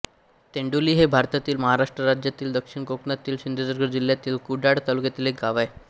तेंडोली हे भारतातील महाराष्ट्र राज्यातील दक्षिण कोकणातील सिंधुदुर्ग जिल्ह्यातील कुडाळ तालुक्यातील एक गाव आहे